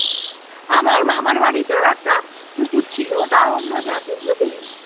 আমার মামার বাড়িতেও একটা কুকুর ছিল ওটা অন্য জাতের বুঝলি